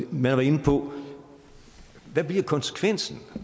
man var inde på hvad bliver konsekvensen